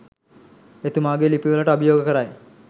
එතුමාගෙ ලිපි වලට අභියෝග කරයි